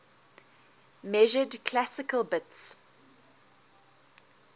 measured classical bits